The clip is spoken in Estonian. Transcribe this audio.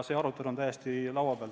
See arutelu on täiesti laua peal.